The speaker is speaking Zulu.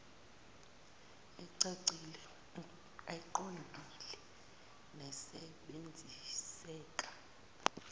ecacile eqondile nesebenziseka